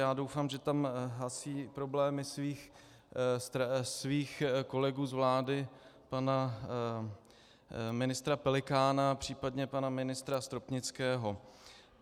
Já doufám, že tam hasí problémy svých kolegů z vlády, pana ministra Pelikána, případně pana ministra Stopnického.